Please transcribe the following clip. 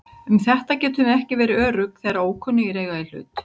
Um þetta getum við ekki verið örugg þegar ókunnugir eiga í hlut.